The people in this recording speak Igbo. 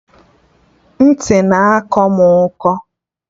Ntị na-akọ mụ ụkọ